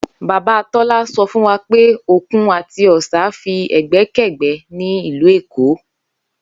Bàbá Tó̩la so̩ fún wa pé òkun àti ò̩sà fí è̩gbé̩kè̩gbé̩ ní ìlú Èkó